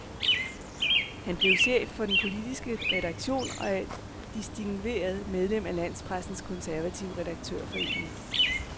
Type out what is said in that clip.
Han blev chef for den politiske redaktion og et distingveret medlem af landspressens konservative redaktørforening.